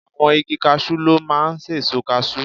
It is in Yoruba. Àwọn igi casú ló máa ń sèso kasú